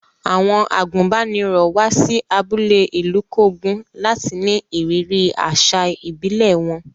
Àwọn àgùnbánirọ̀ wá sí abúlé Ilukogun láti ní ìrírí àṣà ìbílẹ̀ wọn.